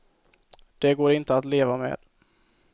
Det går inte att leva med.